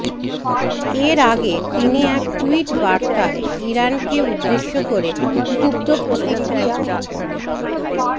এর আগে তিনি এক টুইট বার্তায় ইরানকে উদ্দেশ্য করে ক্ষুব্ধ প্রতিক্রিয়া